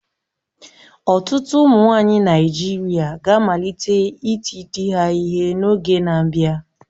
Ọtụtụ ụmụnwaanyị Naịjirịa ga-amalite iti di ha ihe n'oge na-abịa